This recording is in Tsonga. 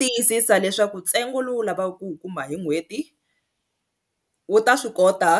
Tiyisisa leswaku ntsengo lowu lavaku ku wu kuma hi n'hweti wu ta swi kota